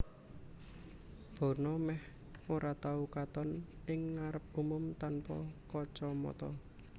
Bono mèh ora tau katon ing ngarep umum tanpa kacamata